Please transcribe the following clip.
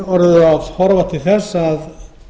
orðið að horfa til þess að